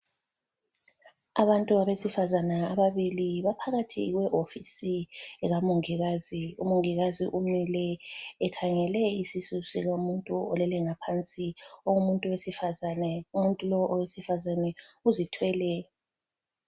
Abantu abesifazana ababili baphakathi kwehofisi eka mongikazi. Umongikazi umile ekhangele isisu somuntu olele ngaphansi. Umuntu wesifazane, umuntu lowu owesifazane uzithwele.